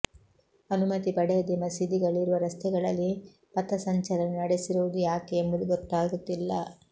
ಅನುಮತಿ ಪಡೆಯದೆ ಮಸೀದಿಗಳಿರುವ ರಸ್ತೆಗಳಲ್ಲಿ ಪಥಸಂಚಲನ ನಡೆಸಿರುವುದು ಯಾಕೆ ಎಂಬುದು ಗೊತ್ತಾಗುತ್ತಿಲ್ಲ